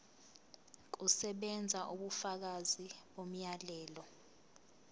kusebenza ubufakazi bomyalelo